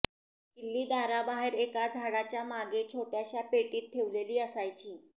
किल्ली दाराबाहेर एका झाडाच्या मागे छोट्याशा पेटीत ठेवलेली असायची